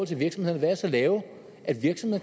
til virksomhederne være så lave